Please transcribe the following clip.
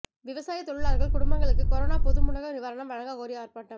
விவசாயத் தொழிலாளா்கள் குடும்பங்களுக்கு கரோனா பொது முடக்க நிவாரணம் வழங்கக் கோரி ஆா்ப்பாட்டம்